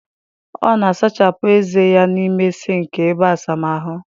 Ọ na-asachapụ ezé ya n'ime sịnkị ebe asamahụ